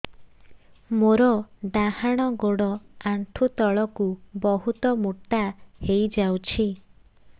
ମୋର ଡାହାଣ ଗୋଡ଼ ଆଣ୍ଠୁ ତଳକୁ ବହୁତ ମୋଟା ହେଇଯାଉଛି